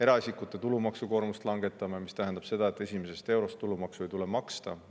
Eraisikute tulumaksukoormust langetame, mis tähendab seda, et esimesest eurost ei tule tulumaksu maksta.